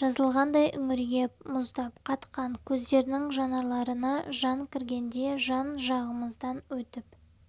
жазылғандай үңірейіп мұздап қатқан көздерінің жанарларына жан кіргендей жан-жағымыздан өтіп